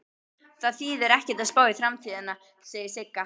Það þýðir ekkert að spá í framtíðina, segir Sigga.